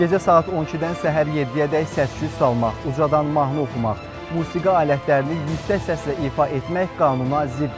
Gecə saat 12-dən səhər 7-yədək səs-küy salmaq, ucadan mahnı oxumaq, musiqi alətlərini yüksək səslə ifa etmək qanuna ziddir.